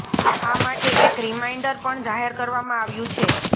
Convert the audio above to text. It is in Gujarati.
આ માટે એક રિમાઈન્ડર પણ જાહેર કરવામાં આવ્યું છે